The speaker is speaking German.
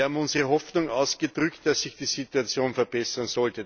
Wir haben unsere Hoffnung ausgedrückt, dass sich die Situation verbessert.